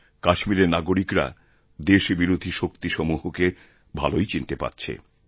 কাশ্মীরের নাগরিকরা দেশবিরোধীশক্তিসমূহকে ভালোই চিনতে পারছে